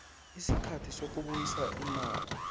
isikhathi sokubuyisa imali